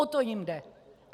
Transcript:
O to jim jde.